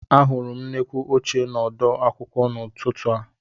Ahụrụ m nnukwu ọchịcha n'ọdu akwụkwọ m n'ụtụtụ a